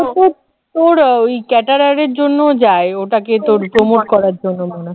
ওর ওই caterer এর জন্য যায় ওটাকে তোর promote করার জন্য মনে